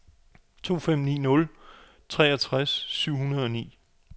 to fem ni nul treogtres syv hundrede og ni